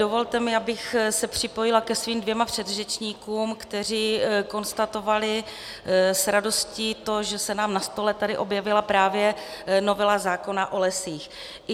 Dovolte mi, abych se připojila ke svým dvěma předřečníkům, kteří konstatovali s radostí to, že se nám na stole tady objevila právě novela zákona o lesích.